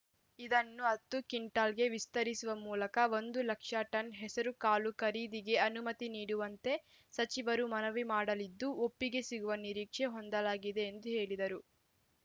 ಇದನ್ನು ಹತ್ತು ಕ್ವಿಂಟಾಲ್‌ಗೆ ವಿಸ್ತರಿಸುವ ಮೂಲಕ ಒಂದು ಲಕ್ಷ ಟನ್‌ ಹೆಸರು ಕಾಳು ಖರೀದಿಗೆ ಅನುಮತಿ ನೀಡುವಂತೆ ಸಚಿವರು ಮನವಿ ಮಾಡಲಿದ್ದು ಒಪ್ಪಿಗೆ ಸಿಗುವ ನಿರೀಕ್ಷೆ ಹೊಂದಲಾಗಿದೆ ಎಂದು ಹೇಳಿದರು